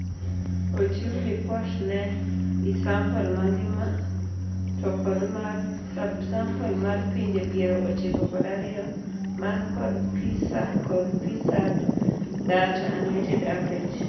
]Ochiu lipot ne isample mangima to kod mar subsample mar pinje piero ochiko kod ariyo man kod PISA kod PISA-D data (unweighted averages)